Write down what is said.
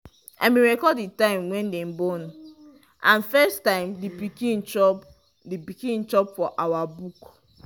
i been record the time wy dem born and first time the pikin chop pikin chop for our book